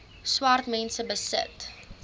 swart mense besit